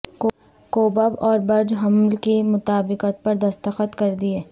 کوبب اور برج حمل کی مطابقت پر دستخط کر دیے